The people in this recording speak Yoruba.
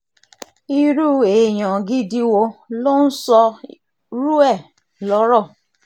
irú èèyàn gidi wo ló ń sọrú ẹ̀ lọ́rọ̀